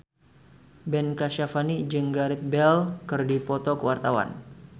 Ben Kasyafani jeung Gareth Bale keur dipoto ku wartawan